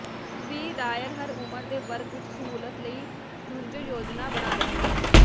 ਵੀ ਦਾਇਰ ਹਰ ਉਮਰ ਦੇ ਵਰਗ ਵਿੱਚ ਸਹੂਲਤ ਲਈ ਰੁੱਝੇ ਯੋਜਨਾ ਬਣਾ ਰਹੇ ਹਨ